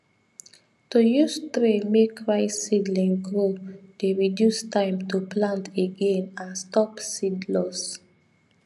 to use tray make rice seedling grow dey reduce time to plant again and stop seed loss